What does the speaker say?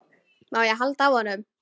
Má ég halda á honum?